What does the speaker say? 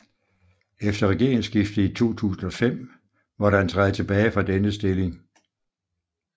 Efter regeringssskiftet i 2005 måtte han træde tilbage fra denne stilling